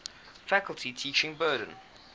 faculty's teaching burden